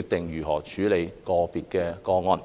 決定如何處理個別個案。